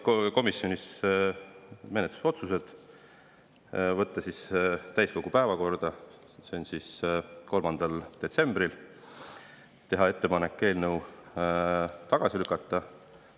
Komisjonis tehti ka menetlusotsused võtta täiskogu päevakorda 3. detsembril ja teha ettepanek eelnõu tagasi lükata.